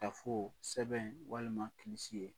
Ka fɔ sɛbɛn walima